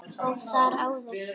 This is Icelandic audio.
Og þar áður?